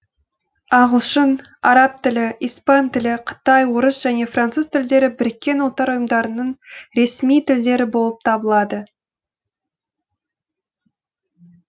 ағылшын араб тілі испан тілі қытай орыс және француз тілдері біріккен ұлттар ұйымдарының ресми тілдері болып табылады